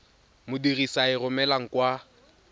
modirisi a e romelang kwa